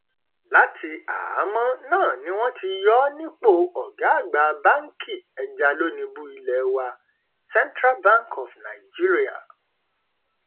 láti àhámọ náà ni wọn ti yọ ọ nípò ọgá àgbà báǹkì ẹjalónìbù ilé wa central bank of nigeria